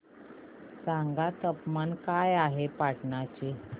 सांगा तापमान काय आहे पाटणा चे